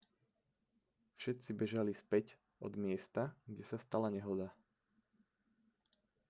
všetci bežali späť od miesta kde sa stala nehoda